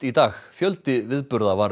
í dag fjöldi viðburða var